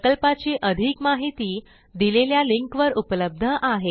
प्रकल्पाची अधिक माहिती दिलेल्या लिंकवर उपलब्ध आहे